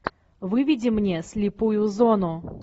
выведи мне слепую зону